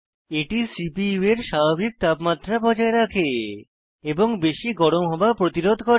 এটি সিপিইউ এর স্বাভাবিক তাপমাত্রা বজায় রাখে এবং বেশি গরম হওয়া প্রতিরোধ করে